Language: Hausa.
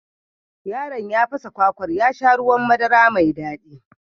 Yaron ya fasa kwakwar ya sha ruwan madara mai daɗi